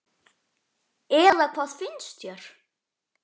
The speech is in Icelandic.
Eða hvað finnst þér?